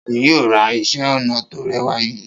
Ta ni yóò ra iṣẹ́-ọnà tó rẹwà yìí?